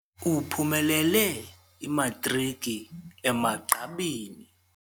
Uphumelele imatriki emagqabini.